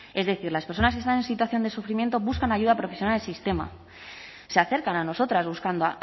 es decir las personas que están en situación de sufrimiento buscan ayuda profesional en el sistema se acercan a nosotras buscando